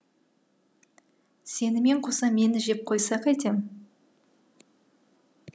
сенімен қоса мені жеп қойса қайтем